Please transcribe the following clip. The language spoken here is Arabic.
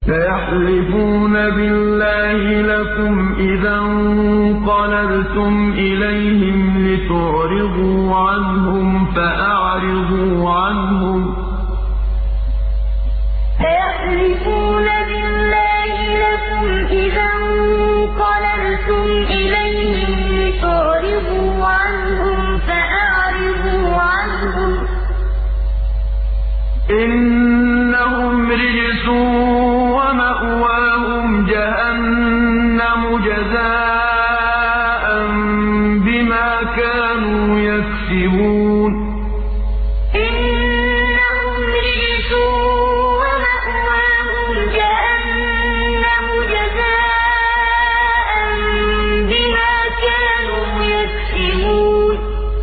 سَيَحْلِفُونَ بِاللَّهِ لَكُمْ إِذَا انقَلَبْتُمْ إِلَيْهِمْ لِتُعْرِضُوا عَنْهُمْ ۖ فَأَعْرِضُوا عَنْهُمْ ۖ إِنَّهُمْ رِجْسٌ ۖ وَمَأْوَاهُمْ جَهَنَّمُ جَزَاءً بِمَا كَانُوا يَكْسِبُونَ سَيَحْلِفُونَ بِاللَّهِ لَكُمْ إِذَا انقَلَبْتُمْ إِلَيْهِمْ لِتُعْرِضُوا عَنْهُمْ ۖ فَأَعْرِضُوا عَنْهُمْ ۖ إِنَّهُمْ رِجْسٌ ۖ وَمَأْوَاهُمْ جَهَنَّمُ جَزَاءً بِمَا كَانُوا يَكْسِبُونَ